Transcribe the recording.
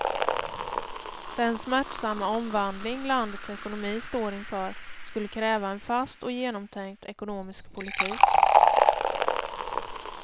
Den smärtsamma omvandling landets ekonomi står inför skulle kräva en fast och genomtänkt ekonomisk politik.